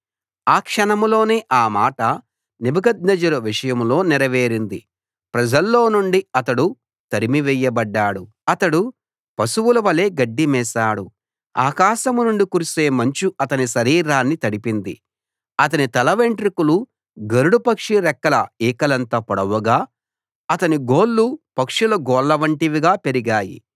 ఆ క్షణంలోనే ఆ మాట నెబుకద్నెజరు విషయంలో నెరవేరింది ప్రజల్లో నుండి అతడు తరిమివేయబడ్డాడు అతడు పశువుల వలె గడ్డిమేశాడు ఆకాశం నుండి కురిసే మంచు అతని శరీరాన్ని తడిపింది అతని తల వెంట్రుకలు గరుడ పక్షి రెక్కల ఈకలంత పొడవుగా అతని గోళ్లు పక్షుల గోళ్లవంటివిగా పెరిగాయి